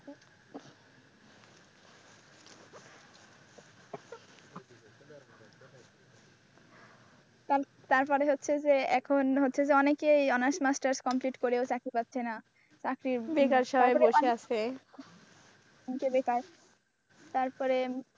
তারপরে হচ্ছে যে এখন হচ্ছে যে অনেকেই honours masters complete করেও চাকরি পাচ্ছে না চাকরি বেকার সবাই বসে আছে, যে বেকার তারপরে,